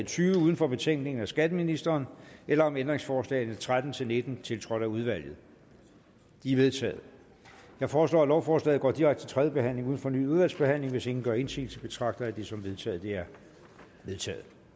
tyve uden for betænkningen af skatteministeren eller om ændringsforslagene nummer tretten til nitten tiltrådt af udvalget de er vedtaget jeg foreslår at lovforslaget går direkte til tredje behandling uden fornyet udvalgsbehandling hvis ingen gør indsigelse betragter jeg det som vedtaget det er vedtaget